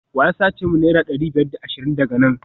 wa ya sace min naira dari biyar da ashirin daga nan?